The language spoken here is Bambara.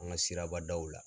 An ka sirabadaw la